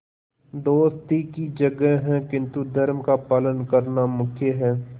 दोस्ती की जगह है किंतु धर्म का पालन करना मुख्य है